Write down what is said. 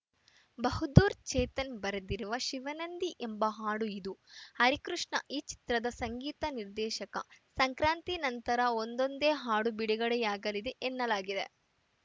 ಬಹದ್ದೂರ್‌ ಚೇತನ್‌ ಬರೆದಿರುವ ಶಿವನಂದಿ ಎಂಬ ಹಾಡು ಇದು ಹರಿಕೃಷ್ಣ ಈ ಚಿತ್ರದ ಸಂಗೀತ ನಿರ್ದೇಶಕ ಸಂಕ್ರಾಂತಿ ನಂತರ ಒಂದೊಂದೇ ಹಾಡು ಬಿಡುಗಡೆಯಾಗಲಿದೆ ಎನ್ನಲಾಗಿದೆ